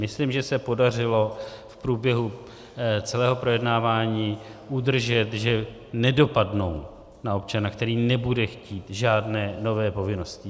Myslím, že se podařilo v průběhu celého projednávání udržet, že nedopadnou na občana, který nebude chtít žádné nové povinnosti.